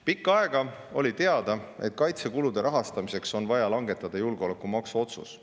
Pikka aega oli teada, et kaitsekulude rahastamiseks on vaja langetada julgeolekumaksu otsus.